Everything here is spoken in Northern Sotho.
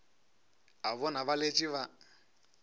a bona ba letše ba